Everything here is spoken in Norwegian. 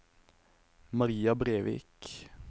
Maria Brevik